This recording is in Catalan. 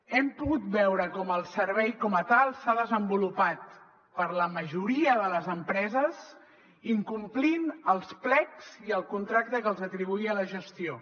hem pogut veure com el servei com a tal s’ha desenvolupat per la majoria de les empreses incomplint els plecs i el contracte que els atribuïa la gestió